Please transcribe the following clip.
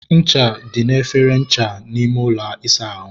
ncha dị n'efere ncha n'ime ụlọ ịsa ahụ.